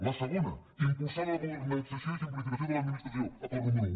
la segona impulsar la modernització i simplificació de l’administració acord número un